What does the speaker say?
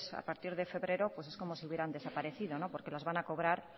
a partir de febrero pues es como si hubieran desaparecido porque las van a cobrar